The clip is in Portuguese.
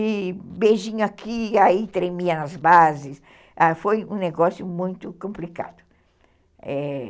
E beijinho aqui, aí tremia nas bases, ãh, é... foi um negócio muito complicado.